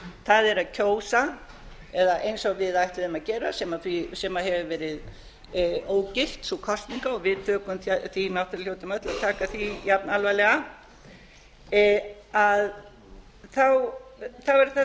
það er að kjósa eða eins og við ætluðum að gera sem hefur verið ógilt sú kosning og við tökum því náttúrlega hljótum öll að taka því jafn alvarlega þá er það þetta